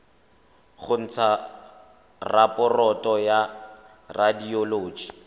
go ntsha raporoto ya radioloji